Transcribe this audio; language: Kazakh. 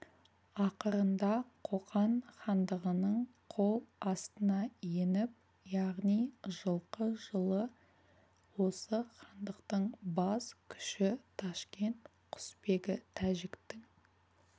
ақырында қоқан хандығының қол астына еніп яғни жылқы жылы осы хандықтың бас күші ташкент құсбегі тәжіктің